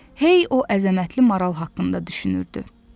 Hey o əzəmətli maral haqqında düşünürdü.